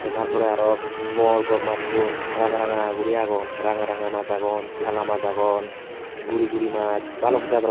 tey tar porey aro bor bor massun ranga ranga guri agon ranga ranga mas agon hala mas agon guri guri mas balok jador.